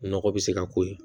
Nɔgɔ bɛ se ka k'o ye